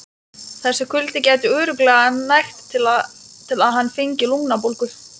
Þessi kuldi gæti örugglega nægt til að hann fengi lungnabólgu.